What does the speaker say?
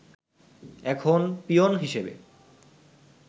এখন পিওন হিসেবে